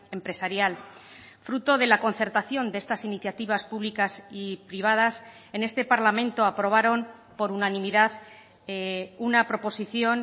empresarial fruto de la concertación de estas iniciativas públicas y privadas en este parlamento aprobaron por unanimidad una proposición